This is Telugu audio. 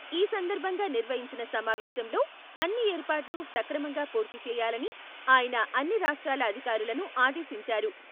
ఈ సందర్భంగా నిర్వహించిన సమావేశంలో అన్ని ఏర్పాట్లు సక్రమంగా పూర్తి చేయాలని ఆయన అన్ని రాష్ట్రాల అధికారులను ఆదేశించారు.